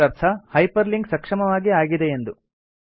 ಇದರರ್ಥ hyperlink ಸಕ್ಷಮವಾಗಿ ಆಗಿದೆಯೆಂದು